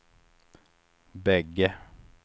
bägge